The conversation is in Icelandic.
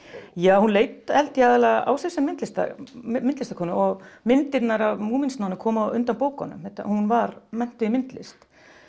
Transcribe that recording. já hún leit held ég aðallega á sig sem myndlistarkonu myndlistarkonu og myndirnar af koma á undan bókunum hún var menntuð í myndlist